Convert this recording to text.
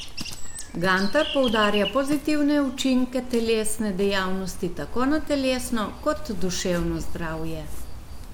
Gantar poudarja pozitivne učinke telesne dejavnosti tako na telesno kot duševno zdravje.